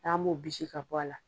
An m'o bisi ka bɔ a la.